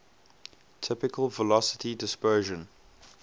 typical velocity dispersion